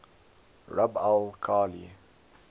rub al khali